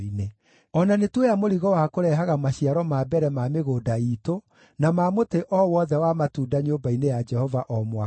“O na nĩtuoya mũrigo wa kũrehaga maciaro ma mbere ma mĩgũnda iitũ na ma mũtĩ o wothe wa matunda nyũmba-inĩ ya Jehova o mwaka.